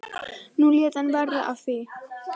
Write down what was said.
Nú lét hann verða af því.